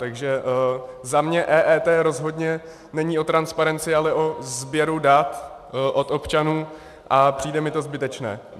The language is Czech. Takže za mě EET rozhodně není o transparenci, ale o sběru dat od občanů a přijde mi to zbytečné.